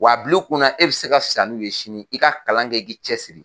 W'a bil'i kun na e bɛ se ka fisaya n'u ye sini i ka kalan kɛ i k'i cɛ siri.